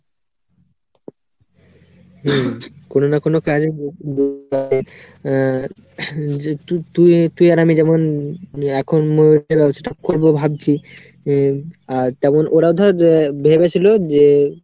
উম কোনো না কোনো কাজে আহ তু~ তুই আর আমি যেমন এখন উম যে start করবো ভাবছি উম আর তেমন ওরাও ধর ভেবেছিলো যে